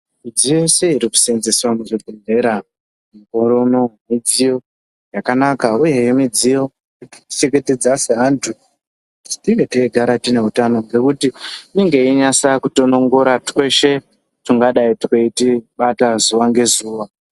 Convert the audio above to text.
Midziyo yese iri kuseenzeswa muzvibhedhlera mukore uno midziyo yakanaka uyehe midziyo inotichengetedza seantu kuti tinge teigara tine hutano, Ngekuti inenge yeinyasa kutonongora tweshe tungadai tweitibata zuva ngezuva.